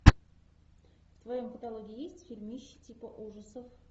в твоем каталоге есть фильмище типа ужасов